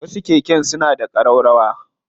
Wasu keken suna da ƙararrawa.